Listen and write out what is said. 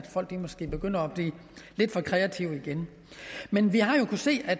folk måske begynder at blive lidt for kreative igen men vi har jo kunnet se at